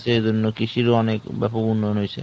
সেই জন্য কৃষির অনেক ব্যাপক উন্নয়ন হয়েছে।